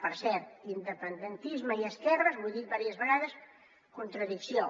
per cert independentisme i esquerres ho he dit diverses vegades contradicció